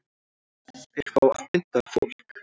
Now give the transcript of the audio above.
Þeir fá að pynta fólk